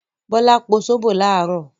Bọ́lá po sóbò láàárọ̀.